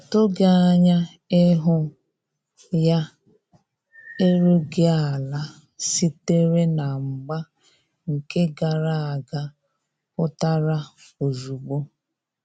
Ọ tughi anya ihu ya, erughi ala sitere na mgba nke gara aga pụtara ozugbo